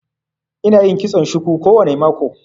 Ina yin kitson shuku kowane mako